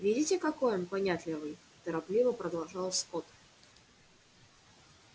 видите какой он понятливый торопливо продолжал скотт